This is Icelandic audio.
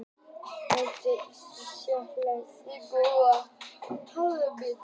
Melónur og sellerí þykja hömstrum góðir aukabitar.